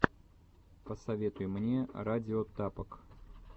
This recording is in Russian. посоветуй мне радио тапок